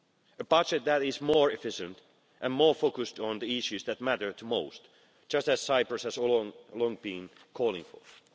A budget that is more efficient and more focused on the issues that matter to most just as Cyprus has all along been calling for.